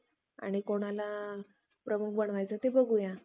आणि कोणाला प्रमुख बनवायचं ते बघूया